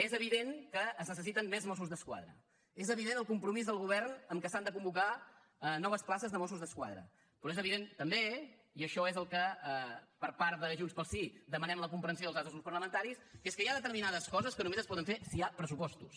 és evident que es necessiten més mossos d’esquadra és evident el compromís del govern que s’han de convocar noves places de mossos d’esquadra però és evident també i és en això en què per part de junts pel sí demanem la comprensió dels altres grups parlamentaris que hi ha determinades coses que només es poden fer si hi ha pressupostos